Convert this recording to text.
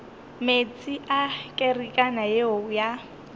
meetse a kerekana yeo ya